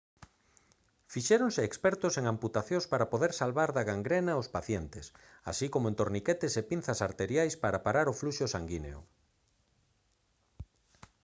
fixéronse expertos en amputacións para poder salvar da gangrena aos pacientes así como en torniquetes e pinzas arteriais para parar o fluxo sanguíneo